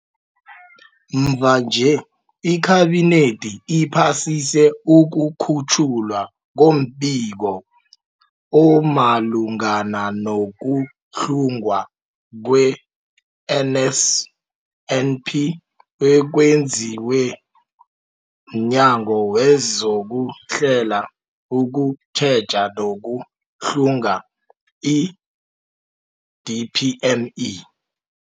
Mvanje, iKhabinethi iphasise ukukhutjhwa kombiko omalungana no-kuhlungwa kwe-NSNP okwenziwe mNyango wezokuHlela, ukuTjheja nokuHlunga, i-DPME.